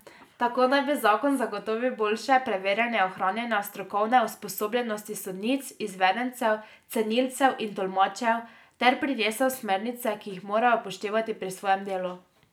Tako naj bi zakon zagotovil boljše preverjanje ohranjanja strokovne usposobljenosti sodnic izvedencev, cenilcev in tolmačev, ter prinesel smernice, ki jih morajo upoštevati pri svojem delu.